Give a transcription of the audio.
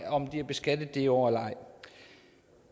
om de er beskattet i det år eller ej